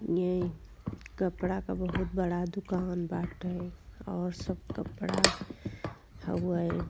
ये कपडा के बहुत बड़ा दुकान बाटे और सब कपडा हउए।